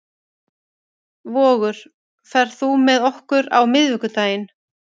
Vogur, ferð þú með okkur á miðvikudaginn?